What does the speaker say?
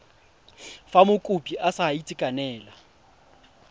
fa mokopi a sa itekanela